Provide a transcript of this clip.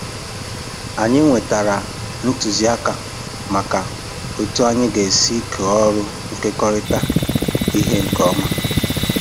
Anyị nwetara ntụzịaka maka otu anyị ga-esi kọọ ọrụ nkekọrịta ihe nke ọma.